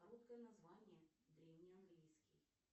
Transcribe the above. короткое название древний английский